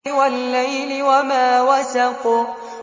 وَاللَّيْلِ وَمَا وَسَقَ